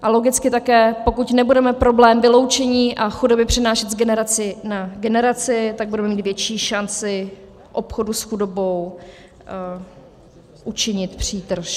A logicky také, pokud nebudeme problém vyloučení a chudoby přenášet z generace na generaci, tak budeme mít větší šanci obchodu s chudobou učinit přítrž.